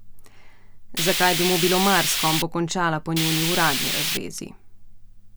Zakaj bi mu bilo mar, s kom bo končala po njuni uradni razvezi?